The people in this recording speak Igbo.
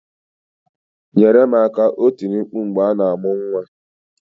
"Nyere m aka" o tiri mkpu mgbe a na-amụ nwa.